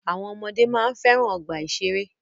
Àwọn ọmọdé máa ń fẹ́ràn ọgbà ìṣẹ̀rẹ́.